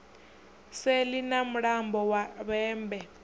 seḽi ha mulambo wa vhembe